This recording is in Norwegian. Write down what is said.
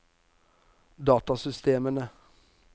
datasystemene